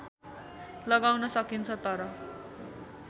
लगाउन सकिन्छ तर